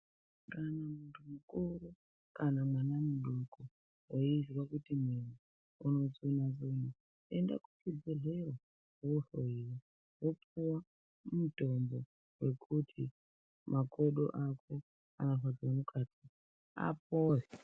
Kana muntu mukuru kana mwana mudoko veizwa kuti mwiri inotsuna-tsuna. Enda kuchibhedhlera vohlowa vopuva mitombo yekuti makodo ako anorwadze mukati apore.